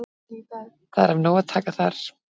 Það er af nógu að taka þar.